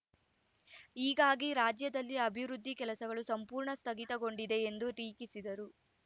ಹೀಗಾಗಿ ರಾಜ್ಯದಲ್ಲಿ ಅಭಿವೃದ್ಧಿ ಕೆಲಸಗಳು ಸಂಪೂರ್ಣ ಸ್ಥಗಿತಗೊಂಡಿದೆ ಎಂದು ಟೀಕಿಸಿದರು